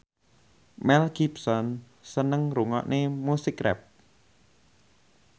Mel Gibson seneng ngrungokne musik rap